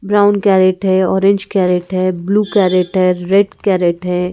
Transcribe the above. Brown carrot है orange carrot है blue carrot है रेड केरट है।